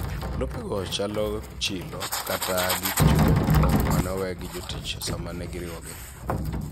Lopego chalo chilo kata gik chumbe moko mane owe gi jotich sama negi riwogi.